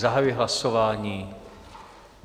Zahajuji hlasování.